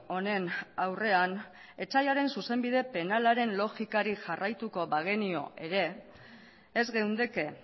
honen aurrean etsaiaren zuzenbide penalaren logikari jarraituko bagenio ere ez geundeke